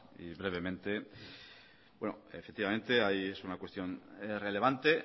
y brevemente bueno es una cuestión relevante